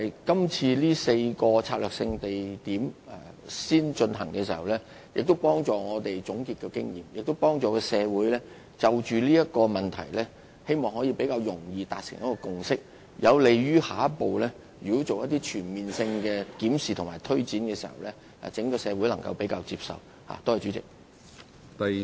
今次先就4個策略性地區進行研究，可有助我們總結經驗，並希望協助社會就此問題更易達成共識，有利於在下一步進行全面檢視和推展時，更容易得到整個社會的接納。